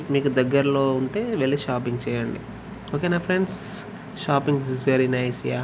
మీకు దగ్గరలో ఉంటే వెళ్ళి షాపింగ్ చేయండి ఒకే న friends shopping is very nice .